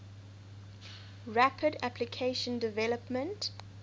rapid application development